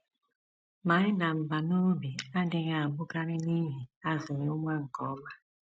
Ma ịda mbà n’obi adịghị abụkarị n’ihi azụghị nwa nke ọma.